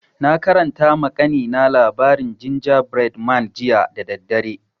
Na karanta ma kanina labarin gingerbread man jiya da daddare